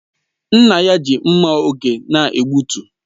Nna ya ji mma oge na-egbutu